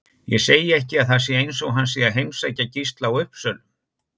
Ég segi ekki að það sé eins og hann sé að heimsækja Gísla á Uppsölum